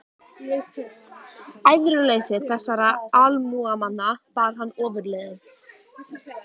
Æðruleysi þessara almúgamanna bar hann ofurliði.